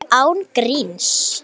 Alveg án gríns.